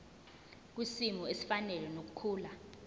kwisimo esifanele nokukhula